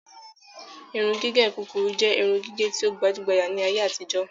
Irun gígé kúkúrú jẹ irun gígé tí o gbajugbaja ni ayé àtijó